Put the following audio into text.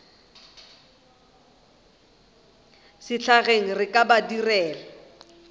sehlageng re ka ba direla